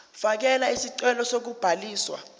fakela isicelo sokubhaliswa